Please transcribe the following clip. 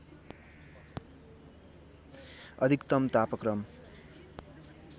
अधिकतम तापक्रम